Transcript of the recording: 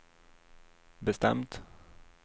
bestämt